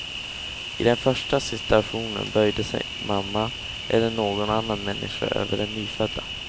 I den första situationen böjde sig mamma eller någon annan människa över den nyfödda.